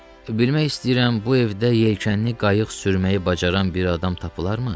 Bilmək istəyirəm bu evdə yelkənli qayıq sürməyi bacaran bir adam tapılarmı?